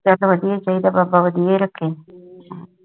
ਚਲ ਵਧੀਆ ਚਾਹੀਦਾ ਬਾਬਾ ਵਧੀਆ ਰਖੇ